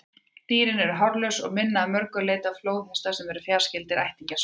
Dýrin eru hárlaus og minna að mörgu leyti á flóðhesta, sem eru fjarskyldir ættingjar svína.